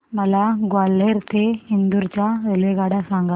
मला ग्वाल्हेर ते इंदूर च्या रेल्वेगाड्या सांगा